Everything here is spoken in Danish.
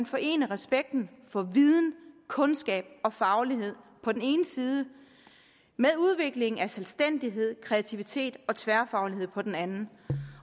forene respekten for viden kundskab og faglighed på den ene side med udviklingen af selvstændighed kreativitet og tværfaglighed på den anden